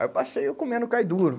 Aí eu passei eu comendo o cai duro.